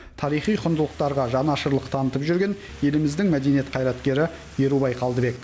тарихи құндылықтарға жанашырлық танытып жүрген еліміздің мәдениет қайраткері ерубай қалдыбек